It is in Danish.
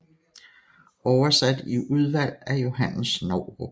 Oversat i Udvalg af Johannes Novrup